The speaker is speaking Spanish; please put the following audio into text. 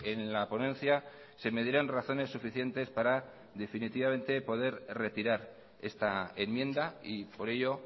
en la ponencia se me dieran razones suficientes para definitivamente poder retirar esta enmienda y por ello